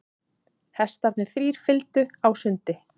Hestarnir þrír fylgdu á sundi.